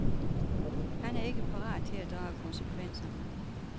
Han er ikke parat til at drage konsekvenserne.